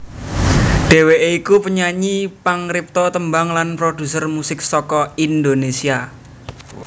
Dhèwèké iku penyanyi pangripta tembang lan prodhuser musik saka Indonésia